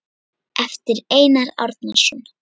eftir Einar Árnason